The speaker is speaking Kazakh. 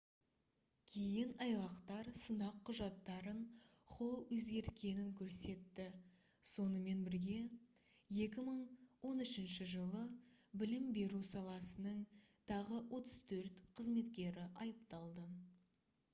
кейін айғақтар сынақ құжаттарын холл өзгерткенін көрсетті сонымен бірге 2013 жылы білім беру саласының тағы 34 қызметкері айыпталды